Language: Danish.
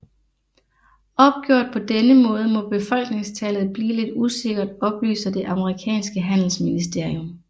Opgjort på denne måde må befolkningstallet blive lidt usikkert oplyser det amerikanske handelsministerium